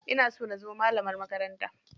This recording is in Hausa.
Ina so na zama malamar makaranta.